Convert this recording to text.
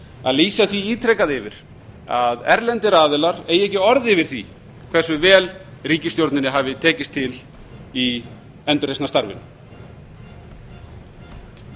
að lýsa því ítrekað yfir að erlendir aðilar eigi ekki orð yfir því hversu vel ríkisstjórninni hafi tekist til í endurreisnarstarfinu